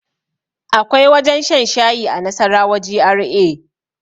Akwai wajen shan shayi a nasarawa GRA